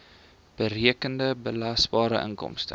berekende belasbare inkomste